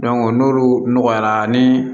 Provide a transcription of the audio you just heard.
n'olu nɔgɔyara ni